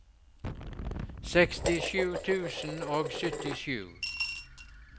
sekstisju tusen og syttisju